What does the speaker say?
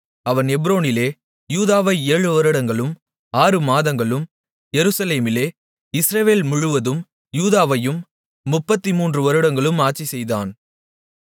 அவன் எப்ரோனிலே யூதாவை ஏழு வருடங்களும் ஆறு மாதங்களும் எருசலேமிலே இஸ்ரவேல் முழுவதும் யூதாவையும் 33 வருடங்களும் ஆட்சிசெய்தான்